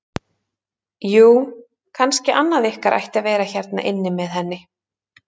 Jú, kannski annað ykkar ætti að vera hérna inni með henni.